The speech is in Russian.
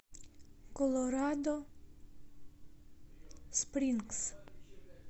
колорадо спрингс